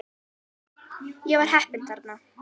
Ég var heppinn þarna